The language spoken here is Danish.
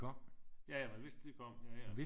Ja ja man vidste de kom ja ja